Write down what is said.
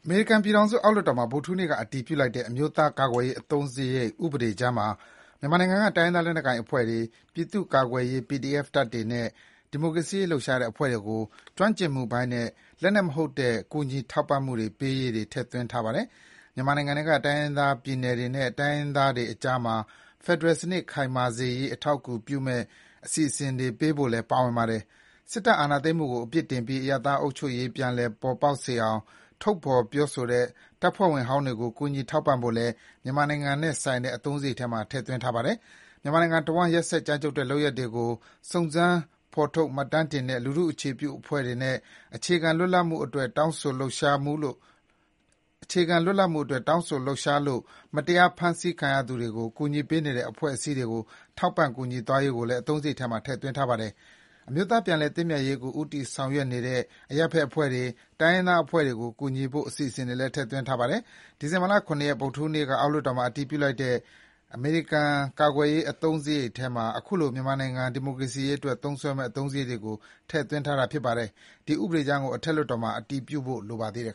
မေရိကန်ပြည်ထောင်စု အောက်လွှတ်တော်မှာ ဗုဒ္ဓဟူးနေ့က အတည်ပြုလိုက်တဲ့ အမျိုးသားကာကွယ်ရေး အသုံးစရိတ်ဥပဒေကြမ်းမှာ မြန်မာနိုင်ငံက တိုင်းရင်းသား လက်နက်ကိုင်အဖွဲ့တွေ၊ ပြည်သူ့ကာကွယ်ရေး PDF တပ်တွေနဲ့ ဒီမိုကရေစီရေးလှုပ်ရှားတဲ့အဖွဲ့တွေကို ကျွမ်းကျင်မှုပိုင်းနဲ့ လက်နက်မဟုတ်တဲ့ ကူညီထောက်ပံ့မှုတွေပေးရေး ထည့်သွင်းထားပါတယ်။ မြန်မာနိုင်ငံထဲက တိုင်းရင်းသားပြည်နယ်တွေနဲ့ တိုင်းရင်းသားတွေကြားမှာ ဖယ်ဒရယ်စနစ် ခိုင်မာစေရေး အထောက်အကူဖြစ်မယ့် အစီအစဉ်တွေပေးဖို့လည်း ပါဝင်ပါတယ်။ စစ်တပ်အာဏာသိမ်းမှုကို အပြစ်တင်ပြီး အရပ်သားအုပ်ချုပ်ရေးပြန်လည်ပေါ်ပေါက်စေအောင် ထုတ်ဖော်ပြောတဲ့ စစ်တပ်ဖွဲ့ဝင်ဟောင်းတွေကို ကူညီထောက်ပံ့ဖို့လည်း မြန်မာနိုင်ငံနဲ့ဆိုင်တဲ့ အသုံးစရိတ်ထဲမှာ ထည့်ထားပါတယ်။ မြန်မာနိုင်ငံတဝန်း ရက်စက် ကြမ်းကြုတ်တဲ့ လုပ်ရပ်တွေကို စုံစမ်းဖော်ထုတ် မှတ်တမ်းတင်တဲ့ လူထုအခြေပြုအဖွဲ့တွေနဲ့ အခြေခံလွတ်လပ်မှုအတွက် တောင်းဆိုလှုပ်ရှားလို့ မတရား ဖမ်းဆီးခံရသူတွေကို ကူညီပေးနေတဲ့ အဖွဲ့အစည်းတွေကို ထောက်ပံ့ကူညီသွားရေးကိုလည်း အသုံးစရိတ်ထဲမှာ ထည့်သွင်းထားပါတယ်။ အမျိုးသားပြန်လည်သင့်မြတ်ရေးကို ဦးစားပေးဆောင်ရွက်နေတဲ့ အရပ်ဖက်အဖွဲ့တွေ၊ တိုင်းရင်းသားအဖွဲ့တွေကိုကူညီဖို့ အစီအစဉ်တွေလည်း ထည့်သွင်းထားပါတယ်။ ဒီဇင်ဘာ ၇ ရက် ဗုဒ္ဓဟူးနေ့က အောက်လွှတ်တော်မှာ အတည်ပြုလိုက်တဲ့ အမေရိကန်ကာကွယ်ရေး အသုံးစရိတ်ထဲမှာ ခုလို မြန်မာနိုင်ငံ ဒီမိုကရေစီရေးအတွက် သုံးစွဲမယ့် အသုံးစရိတ်တွေကို ထည့်သွင်းထားတာဖြစ်ပါတယ်။ ဒီဥပဒေကြမ်းကို အထက်လွှတ်တော်မှာ အတည်ပြုဖို့လိုပါသေးတယ်